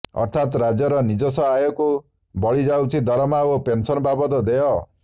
ଅର୍ଥାତ୍ ରାଜ୍ୟର ନିଜସ୍ୱ ଆୟକୁ ବଳିଯାଉଛି ଦରମା ଓ ପେନସନ ବାବଦ ଦେୟ